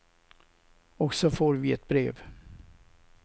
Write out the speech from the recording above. Och så får vi ett brev.